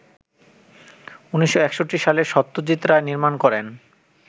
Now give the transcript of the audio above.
১৯৬১ সালে সত্যজিৎ রায় নির্মাণ করেন